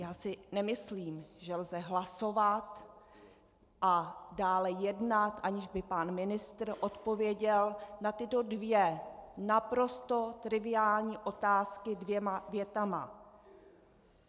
Já si nemyslím, že lze hlasovat a dále jednat, aniž by pan ministr odpověděl na tyto dvě naprosto triviální otázky dvěma větami.